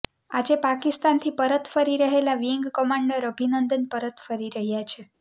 આજે પાકિસ્તાનથી પરત ફરી રહેલા વિંગ કમાન્ડર અભિનંદન પરત ફરી રહ્યા છે